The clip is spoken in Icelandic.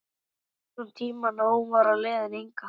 Þú vissir allan tímann að hún var á leiðinni hingað.